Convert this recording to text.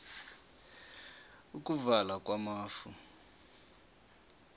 ukuvala kwamafu